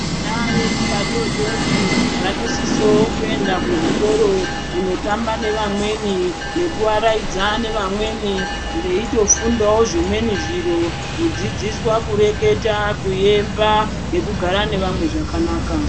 Vana vedu vadodori vanosiso kuenda kuzvikora kunotamba nevamweni kundoaraidza nevamweni veitofundawo zvimweni zviro kudzidziswa kureketa kuemba nekugara nevamwe zvakanaka.